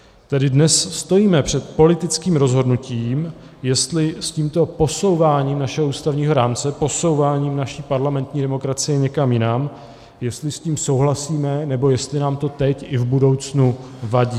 Tedy dnes stojíme před politickým rozhodnutím, jestli s tímto posouváním našeho ústavního rámce, posouváním naší parlamentní demokracie někam jinam, jestli s tím souhlasíme, nebo jestli nám to teď i v budoucnu vadí.